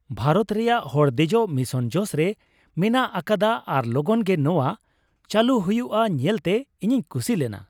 ᱵᱷᱟᱨᱚᱛ ᱨᱮᱭᱟᱜ ᱦᱚᱲ ᱫᱮᱡᱚᱜ ᱢᱤᱥᱚᱱ ᱡᱚᱥ ᱨᱮ ᱢᱮᱱᱟᱜ ᱟᱠᱟᱫᱟ ᱟᱨ ᱞᱚᱜᱚᱱ ᱜᱮ ᱱᱚᱶᱟ ᱪᱟᱹᱞᱩ ᱦᱩᱭᱩᱜᱼᱟ ᱧᱮᱞᱛᱮ ᱤᱧᱤᱧ ᱠᱩᱥᱤ ᱞᱮᱱᱟ ᱾